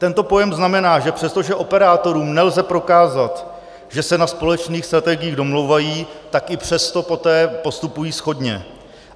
Tento pojem znamená, že přestože operátorům nelze prokázat, že se na společných strategiích domlouvají, tak i přesto poté postupují shodně.